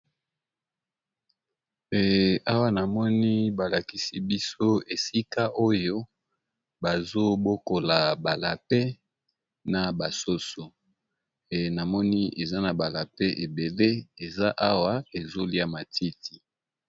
Awa na moni balakisi biso esika oyo bazobokola ba lapins na basoso namoni, eza na ba lapins ebele eza awa ezolia matiti.